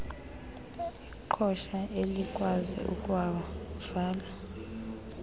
iqhosha elikwazi ukuwavala